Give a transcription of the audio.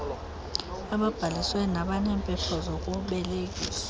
ababhalisiweyo nabaneempepha zokubelekisa